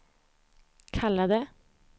kallade